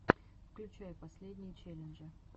включай последние челленджи